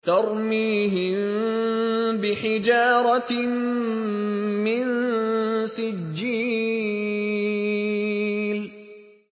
تَرْمِيهِم بِحِجَارَةٍ مِّن سِجِّيلٍ